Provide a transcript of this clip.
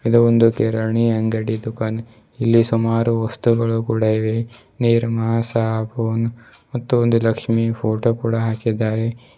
ಇದು ಒಂದು ಕಿರಾಣಿ ಅಂಗಡಿಯ ದುಕಾನ್ ಇಲ್ಲಿ ಸುಮಾರು ವಸ್ತುಗಳು ಕೂಡ ಇವೆ ನಿರ್ಮಾ ಸಾಬೂನ್ ಮತ್ತು ಲಕ್ಷ್ಮಿ ಫೋಟೋ ಕೂಡ ಹಾಕಿದ್ದಾರೆ.